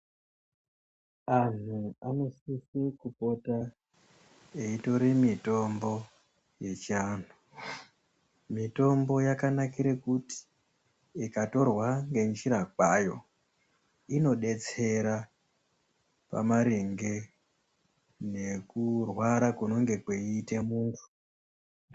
Antu anosise kupota eitora mitombo yechiantu. Mitombo yakanakire kuti ikatorwa ngenjira kwayo inodetsera pamaringe ngekurwara kunenge kweiite munhu.